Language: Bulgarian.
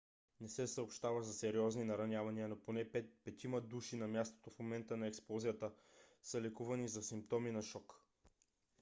не се съобщава за сериозни наранявания но поне петима души на мястото в момента на експлозията са лекувани за симптоми на шок